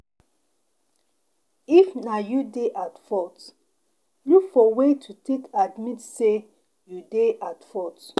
if na you dey at fault, look for way to take admit sey you dey at fault